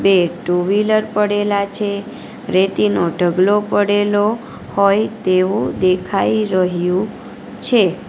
બે two wheeler પડેલા છે રેતીનો ઢગલો પડેલો હોય તેવો દેખાય રહ્યું છે.